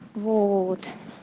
вот